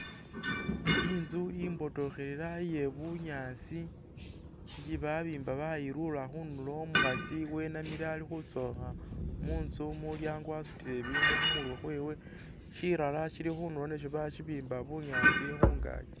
Inzu imbotokhelela iye bunyaasi isi babiimba bayilula khundulo. Umukhaasi wenamile ali khutsokha munzu mumulyango wasutile ibindu khumurwe khwewe, shirara shili khundulo nasyo basibimba bunyaasi khungaaki.